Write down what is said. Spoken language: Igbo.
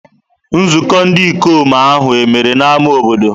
Nzukọ ndị ikom ahụ e mere n'ámá obodo?